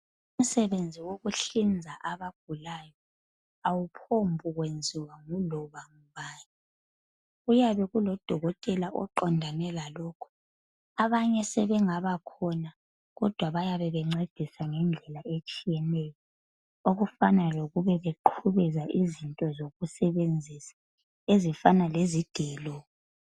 umsebenzi wokuhlinza abagulayo awuphombi kwenziwa nguloba ngubani kuyabe kulodokotela oqondane lalokhu abanye sebengabakhona kodwa bayabe bencedisa ngedlela etshiyeneyo okufana lokuba bebe beqhubeza izinto zokusebenzisa ezifana lezigelo